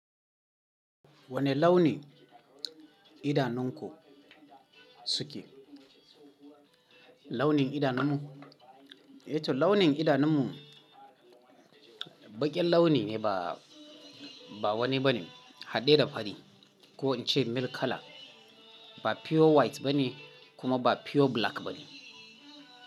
Wani launi idanunku suke? Launin idanunmu? Eh toh launin idanunmu baƙin launi ne ba, ba wani ba ne, haɗe da fari ko in ce milk colour. Ba pure white ba ne kuma ba pure black ba ne.